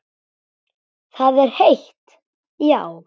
Það er heitt, já.